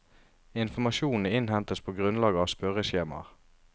Informasjonene innhentes på grunnlag av spørreskjemaer.